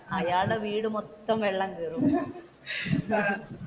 അയാളുടെ വീട് മൊത്തം വെള്ളം കേറും